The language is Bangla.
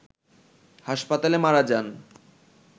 হাসপাতালে মারা যান